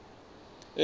elimi